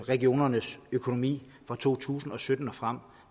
regionernes økonomi for to tusind og sytten og frem